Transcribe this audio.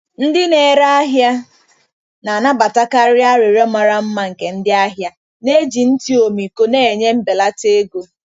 Ndị na-ere ahịa na-anabatakarị arịrịọ mara mma nke ndị ahịa, na-eji ntị ọmịiko na-enye mbelata ego.